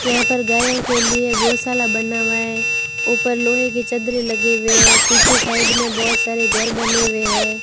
यहां पर गायों के लिए गौशाला बना हुआ है ऊपर लोहे की चद्दरे लगे हुए पीछे साइड में बहोत सारे घर बने हुए हैं।